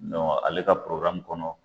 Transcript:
Don ale ka kɔnɔ